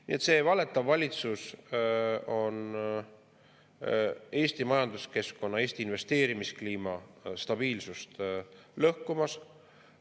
Nii et see valetav valitsus on Eesti majanduskeskkonna, Eesti investeerimiskliima stabiilsust lõhkumas.